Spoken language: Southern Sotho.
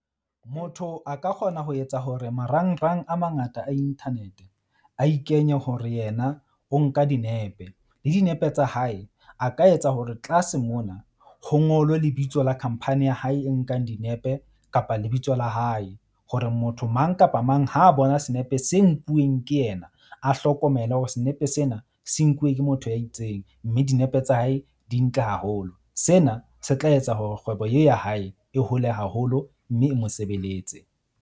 Motho a ka kgona ho etsa hore marangrang a mangata a internet-e a ikenye hore yena o nka dinepe, le dinepe tsa hae, a ka etsa hore tlase mona ho ngolwe lebitso la khamphani ya hae e nkang dinepe kapa lebitso la hae. Hore motho mang kapa mang ha bona senepe se nkuweng ke yena, a hlokomele hore senepe sena se nkuwe ke motho ya itseng, mme dinepe tsa hae di ntle haholo. Sena se tla etsa hore kgwebo ye ya hae e hole haholo mme e mo sebeletse.